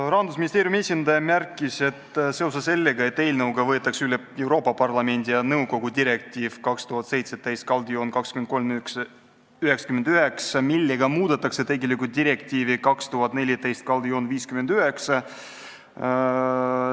Rahandusministeeriumi esindaja märkis, et eelnõuga võetakse üle Euroopa Parlamendi ja nõukogu direktiiv 2017/2399, millega muudetakse tegelikult direktiivi 2014/59.